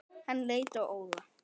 Hann leit á Óla.